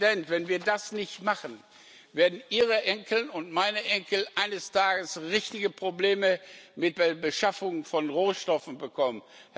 Herr Präsident, wenn wir das nicht machen, werden Ihre Enkel und meine Enkel eines Tages richtige Probleme mit der Beschaffung von Rohstoffen bekommen.